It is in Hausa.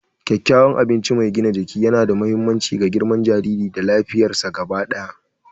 Kyakkyawan abinci mai gina jiki yana da mahimmanci ga girman jariri da lafiyarsa gaba ɗaya.